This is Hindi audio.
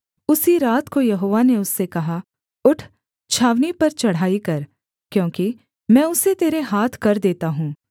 उसी रात को यहोवा ने उससे कहा उठ छावनी पर चढ़ाई कर क्योंकि मैं उसे तेरे हाथ कर देता हूँ